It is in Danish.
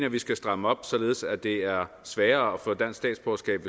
at vi skal stramme op således at det er sværere at få dansk statsborgerskab